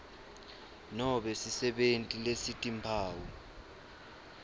nobe sisebenti lesitimphawu